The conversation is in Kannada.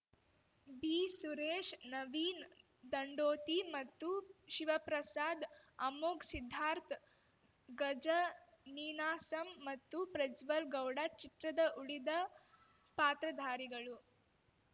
ಬಿ ಸುರೇಶ್‌ ನವೀನ್‌ ದಂಡೋತಿ ಮತ್ತು ಶಿವಪ್ರಸಾದ್‌ ಅಮೋಘ್ ಸಿದ್ದಾರ್ಥ ಗಜ ನೀನಾಸಮ್‌ ಮತ್ತು ಪ್ರಜ್ವಲ್‌ ಗೌಡ ಚಿತ್ರದ ಉಳಿದ ಪಾತ್ರಧಾರಿಗಳು